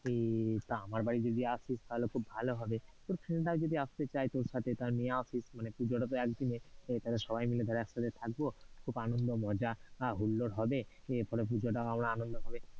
উহ তা আমার বাড়ি যদি আসতিস তাহলে খুব হবে, তো friend রা যদি আসতে চায় তোর সাথে তাহলে নিয়ে আসিস, মানে পূজোটা তো এক দিনের তাহলে সবাই মিলে ধর একসাথে থাকবো, খুব আনন্দ, মজা, হুল্লোড় হবে, এর ফলে পুজোটাও আমরা আনন্দ ভাবে।